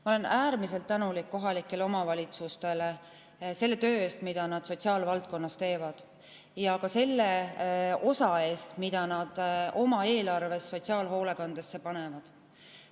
Ma olen äärmiselt tänulik kohalikele omavalitsustele selle töö eest, mida nad sotsiaalvaldkonnas teevad, ja ka selle osa eest, mida nad oma eelarvest sotsiaalhoolekandesse panevad.